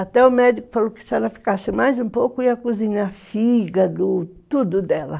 Até o médico falou que se ela ficasse mais um pouco ia cozinhar fígado, tudo dela.